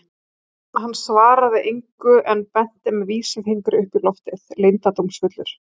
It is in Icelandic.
Hann svaraði engu en benti með vísifingri upp í loftið, leyndardómsfullur á svip.